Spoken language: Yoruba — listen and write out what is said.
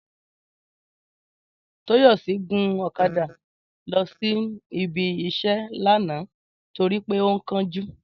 Tóyọ̀sí gun ọ̀kadà lọ sí ibi-iṣẹ́ lánàá torí pé ó ń kánjú